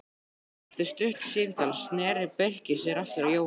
Eftir stutt símtal sneri Birkir sér aftur að Jóhanni.